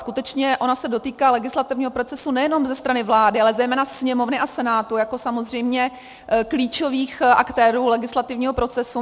Skutečně ona se dotýká legislativního procesu nejenom ze strany vlády, ale zejména Sněmovny a Senátu jako samozřejmě klíčových aktérů legislativního procesu.